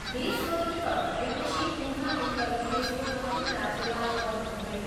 देश स्वतन्त्र भएपछि उहाँ उत्तर प्रदेशको प्रथम राज्यपाल बन्नुभयो।